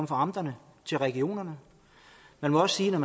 fra amter til regioner man må også sige når